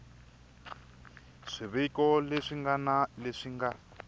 swiviko leswi ngana leswi nga